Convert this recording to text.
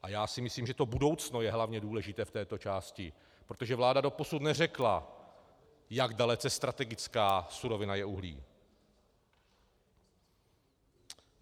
A já si myslím, že to budoucno je hlavně důležité v této části, protože vláda doposud neřekla, jak dalece strategická surovina je uhlí.